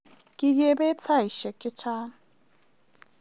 Kigebet saishek chechang